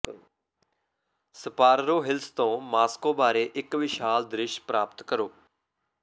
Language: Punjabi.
ਸਪਾਰਰੋ ਹਿਲਸ ਤੋਂ ਮਾਸਕੋ ਬਾਰੇ ਇੱਕ ਵਿਸ਼ਾਲ ਦ੍ਰਿਸ਼ ਪ੍ਰਾਪਤ ਕਰੋ